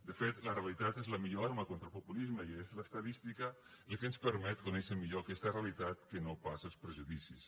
de fet la realitat és la millor arma contra el populisme i és l’estadística el que ens permet conèixer millor aquesta realitat que no pas els prejudicis